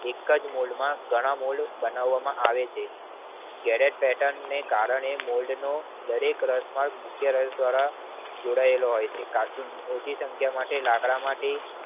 એકજ મોલ્ડ માં ઘણા મોલ્ડ બનાવામાં આવે છે જયારે પેટર્ન ને કારણે મોલ્ડ નું દરેક રસાળ મુખ્ય રસ ડેરા જોડાયેલો હોય છે ઓછી સંખ્યા માટે લાકડા માથીં